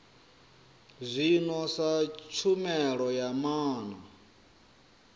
zwino sa tshumelo ya maana